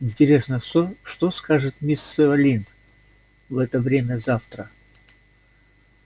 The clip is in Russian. интересно что что скажет мисс сыолин в это время завтра